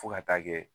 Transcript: Fo ka taa kɛ